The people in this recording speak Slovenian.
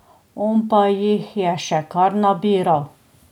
On pa jih je še kar nabiral.